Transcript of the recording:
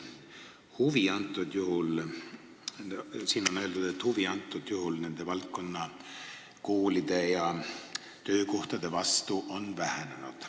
Teie aruandes on öeldud, et huvi nende töökohtade vastu on vähenenud.